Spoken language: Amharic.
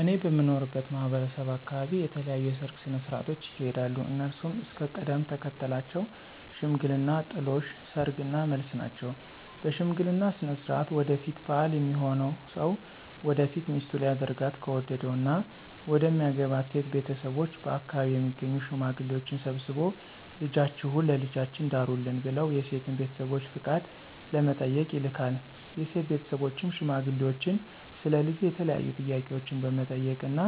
እኔ በምኖርበት ማህበረሰብ አካበቢ የተለያዩ የሰርግ ስነ ሥርዓቶች ይካሄዳሉ። እነሱም እስከ ቅደም ተከተላቸው ሽምግልና፣ ጥሎሽ፣ ሰርግ እና መልስ ናቸው። በሽምግልና ስነ ሥርዓት ወደፊት ባል ሚሆነው ሰው ወደፊት ሚስቱ ሊያደርጋት ከወደደው እና መደሚያገባት ሴት ቤተሰቦች በአከባቢው የሚገኙ ሽማግሌዎችን ሰብስቦ ልጃችሁን ለልጃችን ዳሩልን ብለው የሴትን ቤተሰቦች ፍቃድ ለመጠየቅ ይልካል። የሴት ቤተሰብም ሽማግሌዎቹን ስለ ልጁ የተለያዩ ጥያቄዎችን በመጠየቅ እና